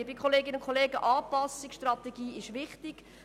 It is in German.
Liebe Kolleginnen und Kollegen, Anpassungsstrategie ist wichtig.